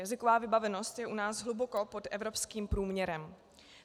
Jazyková vybavenost je u nás hluboko pod evropským průměrem.